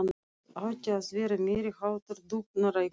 Það átti að vera meiri háttar dúfnarækt.